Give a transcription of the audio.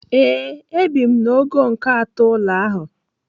Ee, ebi m n'ogo nke atọ ụlọ ahụ.